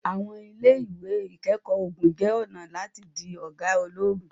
àwọn ile-iwe ikẹkọ ogun jẹ ọna lati di oga ologun